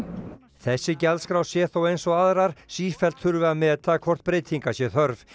þessi gjaldskrá sé þó eins og aðrar sífellt þurfi að meta hvort breytinga sé þörf